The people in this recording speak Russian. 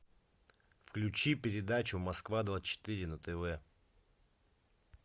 включи передачу москва двадцать четыре на тв